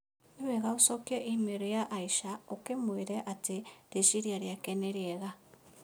Nĩ wega ũcokie i-mīrū ya Asha ũkĩmwĩra atĩ rĩciria rĩake nĩ rĩega